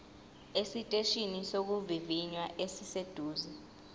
esiteshini sokuvivinya esiseduze